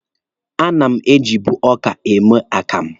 A na m ejibu ọka eme akamụ.